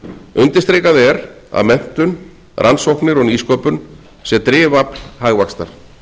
undirstrikað er að menntun rannsóknir og nýsköpun sé drifafl hagvaxtar